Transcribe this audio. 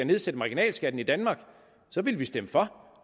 nedsætte marginalskatten i danmark ville vi stemme for